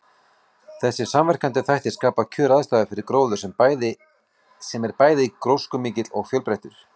Þessir samverkandi þættir skapa kjöraðstæður fyrir gróður sem er bæði gróskumikill og fjölbreyttur.